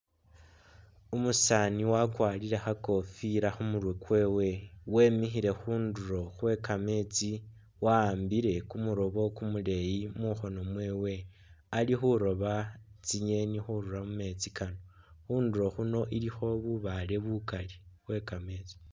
Umusaani wakwalire khakofila khumurwe kwewe wemikhile khundulo khwekameetsi wawambile kumuloobo kumuleyi mukhoono mwewe ali khulooba tsingeni khurura mumeetsi kano khundulo khuno ilikho bubaale bukali khwekameetsi